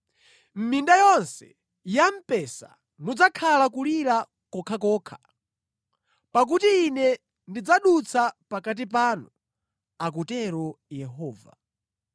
Mʼminda yonse ya mpesa mudzakhala kulira kokhakokha, pakuti Ine ndidzadutsa pakati panu,” akutero Yehova.